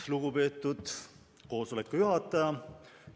Lugupeetud koosoleku juhataja!